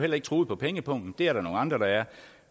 heller ikke truet på pengepungen det er der nogle andre der er